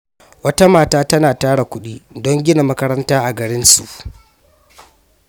Wata mata tana tara kudi don gina makaranta a garinsu.